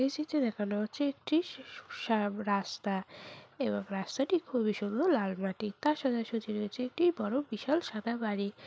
এই চিত্রে দেখানো হচ্ছে একটি স-স-সাব রাস্তা এবং রাস্তাটি খুবই সুন্দর লাল মাটির তার সোজাসুজি রয়েছে একটি বড় বিশাল সাদা বাড়ি।